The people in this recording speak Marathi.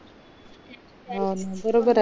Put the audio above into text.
हो ना बरोबर ये ना